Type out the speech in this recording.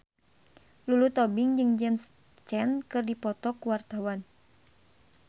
Lulu Tobing jeung James Caan keur dipoto ku wartawan